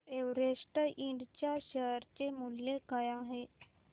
Everest इंड च्या share चे मूल्य काय आहे